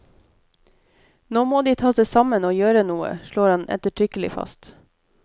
Nå må de ta seg sammen og gjøre noe, slår han ettertrykkelig fast.